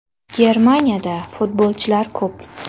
Germaniyada futbolchilar ko‘p.